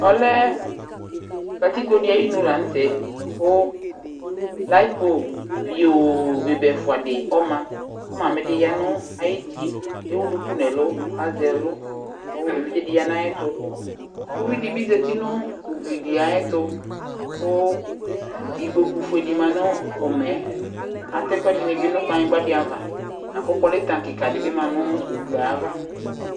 Ɔlɛ katikpo di ayinu lanutɛ, ku laƴiƒo ɣio bebe ɛfua di ma, ku mami di ƴa nayuti kewu duku nɛlu, lazɛ ɛlu, kevidz di ƴa nayɛtu Ʊvidibi zati nu igli di ayɛtu, ku ikpoku fuedi dibi du aƴumɛyɛ Atɛ ɛkuɛdini bi nu kplaɣnigba ava aku politank di ma nu ugli yɛ ava